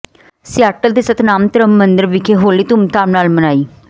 Seattle ਦੇ ਸਨਾਤਮ ਧਰਮ ਮੰਦਰ ਵਿਖੇ ਹੋਲੀ ਧੂਮਧਾਮ ਨਾਲ ਮਨਾਈ